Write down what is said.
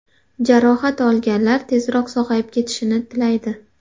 Jarohat olganlar tezroq sog‘ayib ketishini tilaydi.